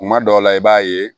Kuma dɔw la i b'a ye